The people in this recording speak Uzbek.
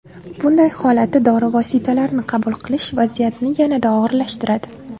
Bunday holatda dori vositalarini qabul qilish vaziyatni yanada og‘irlashtiradi.